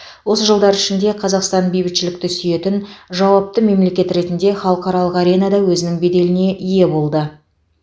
осы жылдар ішінде қазақстан бейбітшілікті сүйетін жауапты мемлекет ретінде халықаралық аренада өзінің беделіне ие болды